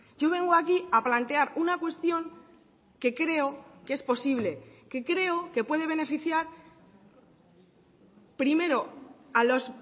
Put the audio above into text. yo vengo aquí a plantear una cuestión que creo que es posible que creo que puede beneficiar primero a los